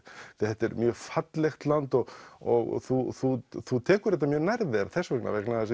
þetta er mjög fallegt land og og þú þú þú tekur þetta nærri þér þess vegna vegna